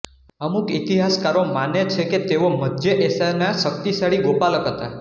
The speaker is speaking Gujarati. અમુક ઇતિહાસકારો માને છે કે તેઓ મધ્ય એશિયના શક્તિશાળી ગોપાલક હતા